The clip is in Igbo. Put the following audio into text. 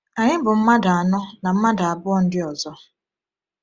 Anyị bụ mmadụ anọ na mmadụ abụọ ndị ọzọ.